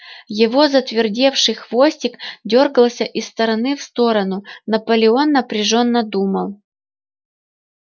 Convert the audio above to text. его затвердевший хвостик дёргался из стороны в сторону наполеон напряжённо думал